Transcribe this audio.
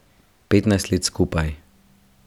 Petnajst let skupaj.